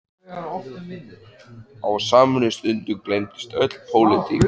Á samri stundu gleymdist öll pólitík.